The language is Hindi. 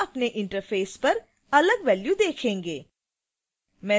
आप अपने interface पर अलग value देखेंगे